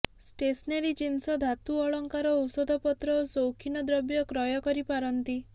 stationery ଜିନିଷ ଧାତୁ ଅଳଙ୍କାର ଔଷଧପତ୍ର ଓ ସୌଖୀନ ଦ୍ରବ୍ୟ କ୍ରୟ କରିପାରନ୍ତି